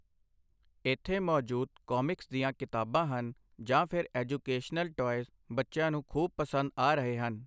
ਇੱਥੇ ਮੌਜੂਦ ਕੌਮਿਕਸ ਦੀਆਂ ਕਿਤਾਬਾਂ ਹਨ ਜਾਂ ਫਿਰ ਐਜੂਕੇਸ਼ਨਲ ਟੌਇਜ਼, ਬੱਚਿਆਂ ਨੂੰ ਖੂਬ ਪਸੰਦ ਆ ਰਹੇ ਹਨ।